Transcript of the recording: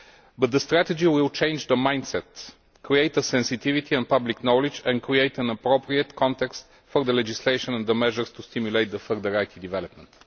But the strategy will change the mindset, create a sensitivity and public knowledge and create an appropriate context for the legislation and the measures to stimulate further IT development.